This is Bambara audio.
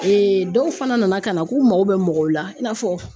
dɔw fana nana ka na k'u mago bɛ mɔgɔw la i n'a fɔ